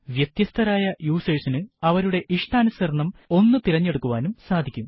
വ്യത്യസ്തരായ യൂസേർസിനു അവരുടെ ഇഷ്ടാനുസരണം ഒന്ന് തിരഞ്ഞെടുക്കുവാനും സാധിക്കും